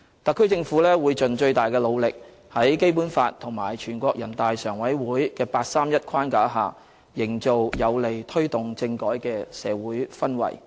特區政府會盡最大努力，在《基本法》和全國人大常委會的八三一框架下，營造有利推動政改的社會氛圍。